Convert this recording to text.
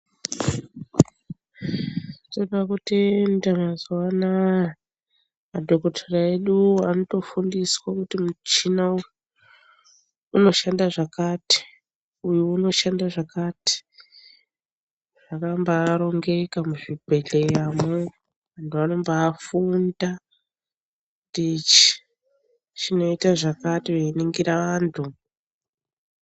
Toda kutenda mazuva anaya, madhokotera eduwo anotofundiswa kuti muchina uyu, unoshanda zvakati, uyu unoshanda zvakati. Zvakambarongeka muzvibhedhleyamo, vanombafunda kuti ichi chinoita zvakati, veiningira vantu.